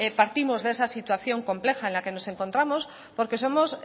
partimos de esa situación compleja en la que nos encontramos porque somos